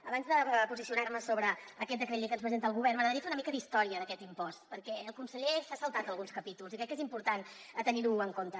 abans de posicionar me sobre aquest decret llei que ens presenta el govern m’agradaria fer una mica d’història d’aquest impost perquè el conseller s’ha saltat alguns capítols i crec que és important tenir ho en compte